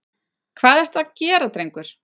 Hvað ertu að gera, drengur?